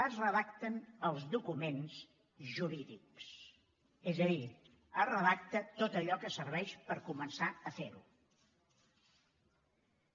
es redacten els documents jurídics és a dir es redacta tot allò que serveix per començar a fer ho